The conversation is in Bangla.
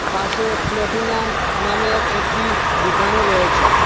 পাশে প্ল্যাটিনাম নামের একটি দুকানও রয়েছে।